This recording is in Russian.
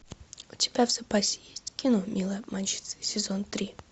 у тебя в запасе есть кино милые обманщицы сезон три